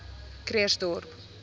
krugersdorp